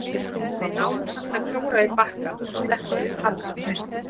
Við náðum samt að klóra í bakkann og sleppa við fall um haustið.